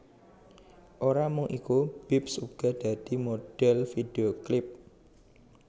Ora mung iku Bips uga dadi modhèl vidhéo klip